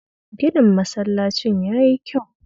Ginin masallacin ya yi kyau